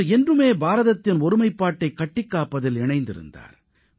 அவர் என்றுமே பாரதத்தின் ஒருமைப்பாட்டை கட்டிக்காப்பதில் இணைந்திருந்தார்